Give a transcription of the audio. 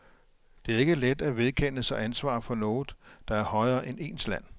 Det er ikke let at vedkende sig ansvar for noget, der er højere end ens land.